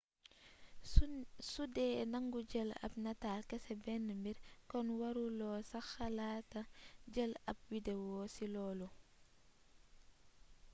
sudee nangu jël ab nataal kese benn mbir kon waru loo sax xalaata jël ab wideo ci loolu